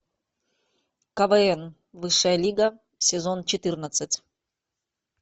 квн высшая лига сезон четырнадцать